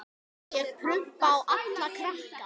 Ég prumpa á alla krakka.